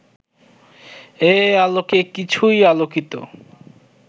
এ আলোকে কিছুই আলোকিত